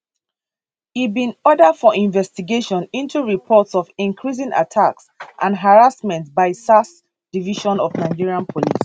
e bin order for investigation into reports of increasing attacks and harassment by sars division of nigerian police